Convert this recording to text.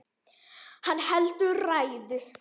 Hann heldur ræðu.